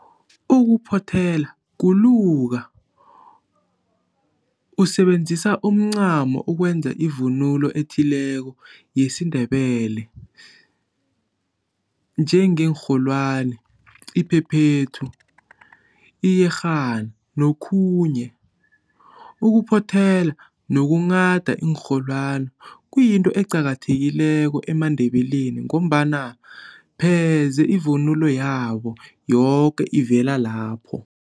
Ukuphothela kuluka usebenzisa imicamo ukwenza ivunulo ethileko yesiNdebele enjenge nrholwani, iphephethu, iyerhana nokhunye. Ukuphothela nokughada iinrholwane kuyinto eqakathekileko eMaNdebeleni ngombana pheze ivunulo yabo yoke ivela lapho.